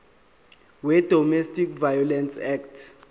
wedomestic violence act